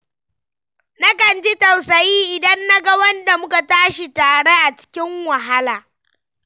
Na kan ji tausayi idan naga wanda muka tashi tare a cikin wahala.